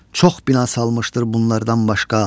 Çox bina salmışdır bunlardan başqa.